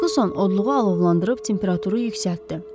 Ferquson odluğu alovlandırıb temperaturu yüksəltdi.